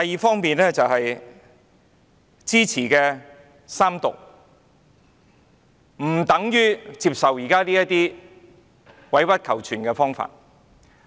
此外，我支持三讀並不等於接受現時這種委屈求全的方案。